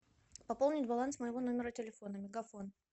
пополнить баланс моего номера телефона мегафон